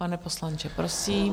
Pane poslanče, prosím.